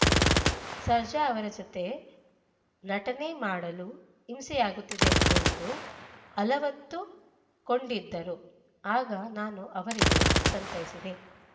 ಸರ್ಜಾ ಅವರ ಜತೆ ನಟನೆ ಮಾಡಲು ಹಿಂಸೆಯಾಗುತ್ತಿದೆ ಎಂದು ಅಲವತ್ತುಕೊಂಡಿದ್ದರು ಆಗ ನಾನು ಅವರಿಗೆ ಸಂತೈಸಿದ್ದೆ